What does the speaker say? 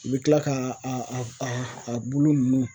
U bɛ kila ka a a bulu ninnu